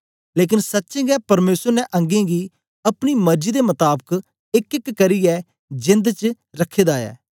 लेकन सच्चें गै परमेसर ने अंगें गी अपनी मर्जी दे मताबक एकएक करियै जेंद च रखे दा ऐ